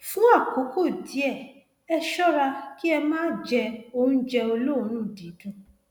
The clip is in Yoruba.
fún àkókò díẹ ẹ ṣọra kí ẹ má jẹ oúnjẹ olóòórùn dídùn